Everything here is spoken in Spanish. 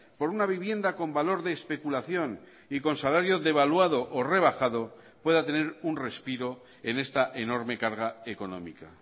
por una vivienda con valor de especulación y con salario devaluado o rebajado pueda tener un respiro en esta enorme carga económica